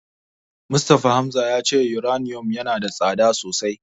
Mustapha Hamza ya ce Yuraniyom yana da tsada sosai.